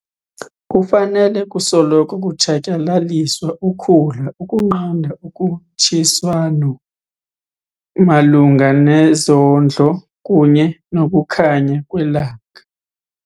Kufanele kusoloko kutshatyalaliswa ukhula ukunqanda ukhutshiswano malunga nezondlo kunye nokukhanya kwelanga.